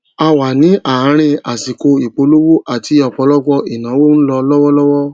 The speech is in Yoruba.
a wà ní àárín àsìkò ìpolówó ati ọpọlọpọ ìnáwó n lọ lọwọlọwọ